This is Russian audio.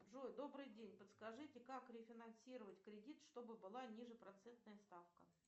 джой добрый день подскажите как рефинансировать кредит чтобы была ниже процентная ставка